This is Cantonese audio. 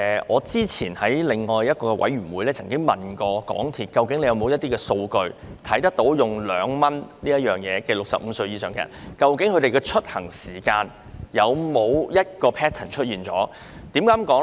我之前在一個事務委員會會議上詢問港鐵公司有否任何數據，反映使用2元乘車優惠的65歲或以上人士的出行時間有否固定 pattern。